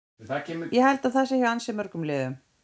Ég held að það sé hjá ansi mörgum liðum.